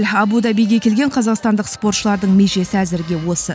абу дабиге келген қазақстандық спортшылардың межесі әзірге осы